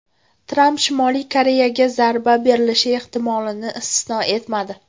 Tramp Shimoliy Koreyaga zarba berilishi ehtimolini istisno etmadi.